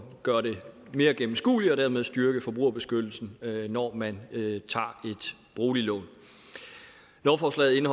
gøre det mere gennemskueligt og dermed styrke forbrugerbeskyttelsen når man tager et boliglån lovforslaget